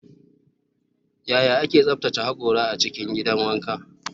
Yaya ake tsaftace hakora a cikin gidan wanka?